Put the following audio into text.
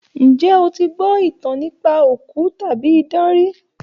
Ǹjé o ti gbọ́ ìtàn nípa òkú tàbí idán rí?